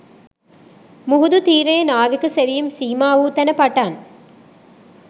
මුහුදු තීරයේ නාවික සෙවීම් සීමා වූ තැන පටන්